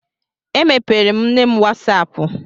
Emepeere m nne m wasaapụ.